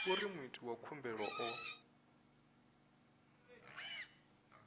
uri muiti wa khumbelo o